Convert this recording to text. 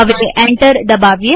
હવે એન્ટર દબાવીએ